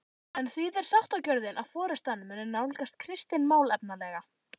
En þýðir sáttagjörðin að forystan muni nálgast Kristin málefnalega?